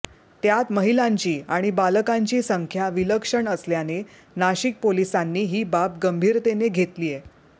त्यात महिलांची आणि बालकांची संख्या विलक्षण असल्याने नाशिक पोलिसांनी ही बाब गंभीरतेने घेतलीय